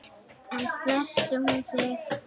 En snertir hún þig ekki?